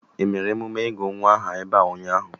Emere emume ịgụ nwa aha ebe a ụnyaahụ?